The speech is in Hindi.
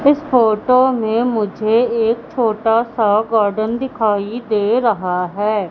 इस फोटो मे मुझे एक छोटा सा गार्डन दिखाई दे रहा है।